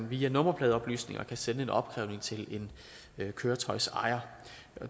via nummerpladeoplysninger kan sende en opkrævning til en køretøjsejer